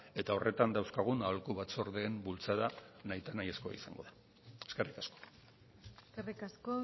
eta horretan dauzkagun aholku batzordeen bultzada nahita nahi ezkoa izango da eskerrik asko eskerrik asko